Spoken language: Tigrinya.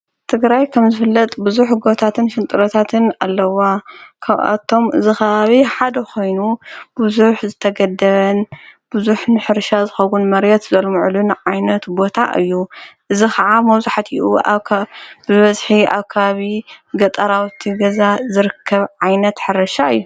ትግራይ ከም ዝፍለጥ ብዙኅ ጐታትን ሽንጥረታትን ኣለዋ። ካብኣቶም ዝኻባብ ሓደ ኾይኑ ብዙሕ ዝተገድበን ብዙኅ ንሕርሻ ዘኸዉን መርት ዘለምዕሉን ዓይነት ቦታ እዩ። እዝ ኸዓ መውዙሕቲኡ ብበዝኂ ኣካብ ገጠራውቲ ገዛ ዘርከብ ዓይነት ሓረሻ እዩ።